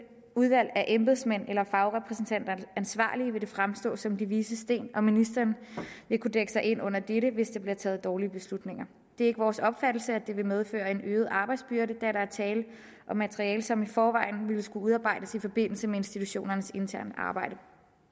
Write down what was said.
udvalg af embedsmænd eller fagrepræsentanter ansvarlige vil det fremstå som de vises sten og ministeren vil kunne dække sig ind under dette hvis der bliver taget dårlige beslutninger det er ikke vores opfattelse at det vil medføre en øget arbejdsbyrde da der er tale om materiale som i forvejen ville skulle udarbejdes i forbindelse med institutionernes interne arbejde